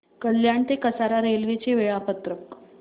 कल्याण ते कसारा रेल्वे चे वेळापत्रक